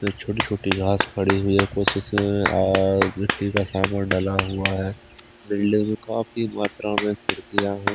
छोटी-छोटी घास पड़ी हुई है कोशिश कुछ अह मिट्टी का सामान डला हुआ है बिल्डिंग काफी मात्रा में खिड़कियां हैं।